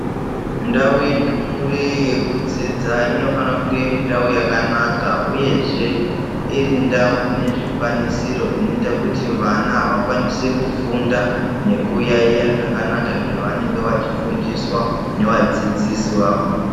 Ndau yendumure yekudzidza, inofane kunge irindau yakanaka, uyezve irindau inezvikwanisiro, inoyita kuti vana vakwanise kufunda nekuyayiya zvakanaka, zvavanenge vachifundiswa nevadzidzisi vawo.